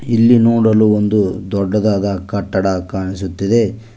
ಇಲ್ಲಿ ನೋಡಲು ಒಂದು ದೊಡ್ಡದಾದ ಕಟ್ಟಡ ಕಾಣಿಸುತ್ತಿದೆ.